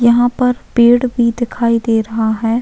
यहाँ पर पेड़ भी दिखाई दे रहा है।